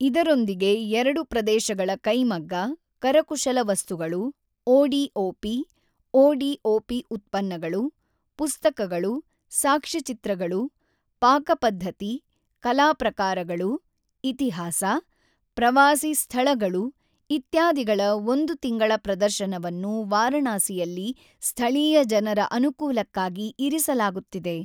ಇದರೊಂದಿಗೆ ಎರಡು ಪ್ರದೇಶಗಳ ಕೈಮಗ್ಗ, ಕರಕುಶಲ ವಸ್ತುಗಳು, ODOP ಓಡಿಓಪಿ ಉತ್ಪನ್ನಗಳು, ಪುಸ್ತಕಗಳು, ಸಾಕ್ಷ್ಯಚಿತ್ರಗಳು, ಪಾಕಪದ್ಧತಿ, ಕಲಾ ಪ್ರಕಾರಗಳು, ಇತಿಹಾಸ, ಪ್ರವಾಸಿ ಸ್ಥಳಗಳು ಇತ್ಯಾದಿಗಳ ಒಂದು ತಿಂಗಳ ಪ್ರದರ್ಶನವನ್ನು ವಾರಾಣಸಿಯಲ್ಲಿ ಸ್ಥಳೀಯ ಜನರ ಅನುಕೂಲಕ್ಕಾಗಿ ಇರಿಸಲಾಗುತ್ತಿದೆ.